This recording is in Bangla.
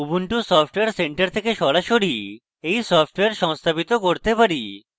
ubuntu software center থেকে সরাসরি we সফ্টওয়্যার সংস্থাপিত করতে পারি